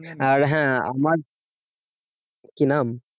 আর হ্যাঁ আমার কি নাম?